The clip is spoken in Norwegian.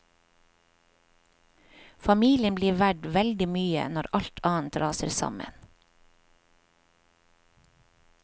Familien blir verdt veldig mye når alt annet raser sammen.